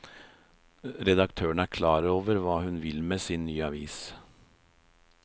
Redaktøren er klar på hva hun vil med sin nye avis.